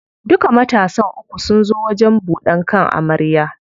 Duka matansa uku sun zo wajen buɗan kan amarya.